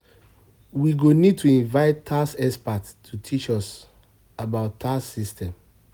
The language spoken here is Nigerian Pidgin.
We go need to invite tax expert to teach us about tax system.